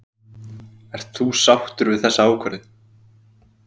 Guðmundur Steingrímsson: Ert þú sáttur við þessa ákvörðun?